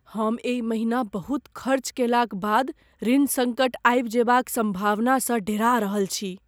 हम एहि महिना बहुत खर्च कयलाक बाद ऋण सङ्कट आबि जयबाक सम्भावनासँ डेरा रहल छी।